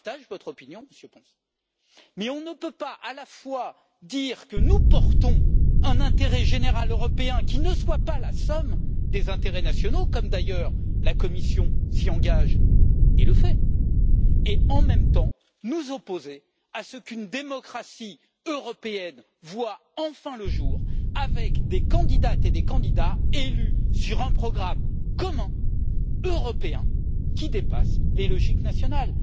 Je partage votre opinion, Monsieur González Pons, mais on ne peut pas à la fois dire que nous portons un intérêt général européen qui ne soit pas la somme des intérêts nationaux, comme d'ailleurs la Commission s'y engage et le fait, et, en même temps, nous opposer à ce qu'une démocratie européenne voie enfin le jour, avec des candidates et des candidats élus sur un programme commun européen qui dépasse les logiques nationales.